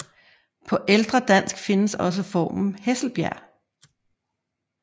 På ældre dansk findes også formen Hesselbjerg